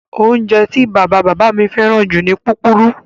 Oúnjẹ tí bàbá-bàbá mi fẹ́ràn jù ni púpurú.